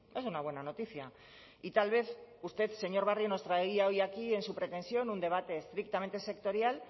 es una buena noticia y tal vez usted señor barrio nos traía hoy aquí en su pretensión un debate estrictamente sectorial